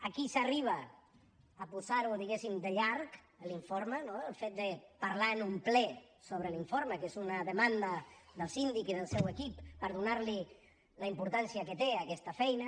aquí s’arriba a posar lo diguem ne de llarg l’informe no el fet de parlar en un ple sobre l’informe que és una demanda del síndic i del seu equip per donar li la importància que té a aquesta feina